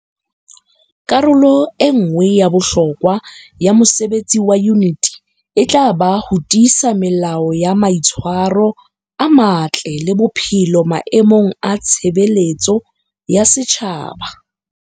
Karolo e nngwe ya bohlokwa ya mosebetsi wa Yuniti e tla ba ho tiisa melao ya mai tshwaro a matle le botshepehi maemong a tshebeletso ya setjhaba.